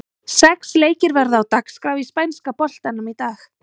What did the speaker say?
Sex leikir verða á dagskrá í spænska boltanum í dag.